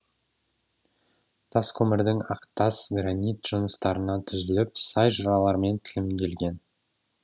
тас көмірдің әктас гранит жыныстарынан түзіліп сай жыралармен тілімделген